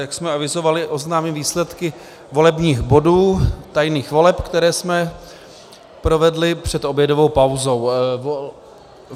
Jak jsme avizovali, oznámím výsledky volebních bodů tajných voleb, které jsme provedli před obědovou pauzou.